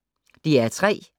DR P3